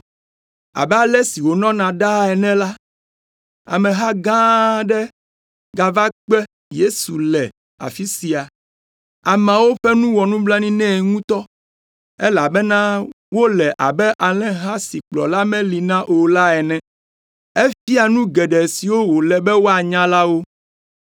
Abe ale si wònɔna ɖaa ene la, ameha gã aɖe gava kpe Yesu le afi sia. Ameawo ƒe nu wɔ nublanui nɛ ŋutɔ, elabena wole abe alẽha si kplɔla meli na o la ene. Efia nu geɖe siwo wòle be woanya la wo.